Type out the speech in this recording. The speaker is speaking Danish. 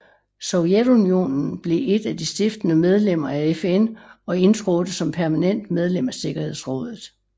Sovjetunionen blev et af de stiftende medlemmer af FN og indtrådte som permanent medlem af sikkerhedsrådet